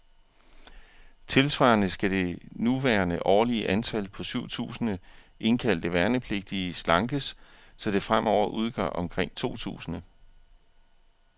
Tilsvarende skal det nuværende årlige antal, på syv tusinde indkaldte værnepligtige, slankes, så det fremover udgør omkring to tusinde.